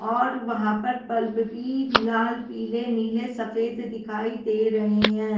और वहां पर बल्ब भी लाल पीले नीले सफेद दिखाई दे रहे हैं।